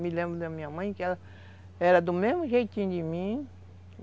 Me lembro da minha mãe que ela era do mesmo jeitinho de mim.